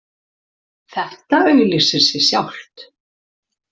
Þetta auglýsir sig sjálft